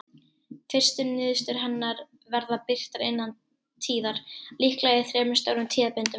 Fyrstu niðurstöður hennar verða birtar innan tíðar, líklega í þremur stórum tíðabindum.